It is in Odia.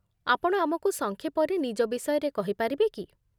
ଆପଣ ଆମକୁ ସଂକ୍ଷେପରେ ନିଜ ବିଷୟରେ କହିପାରିବେ କି?